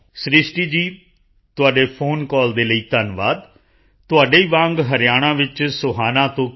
ਸ੍ਰਿਸ਼ਟੀ ਜੀ ਤੁਹਾਡੇ phone call ਦੇ ਲਈ ਧੰਨਵਾਦ ਤੁਹਾਡੇ ਹੀ ਵਾਂਗ ਹਰਿਆਣਾ ਵਿੱਚ ਸੋਹਨਾ ਤੋਂ ਕੇ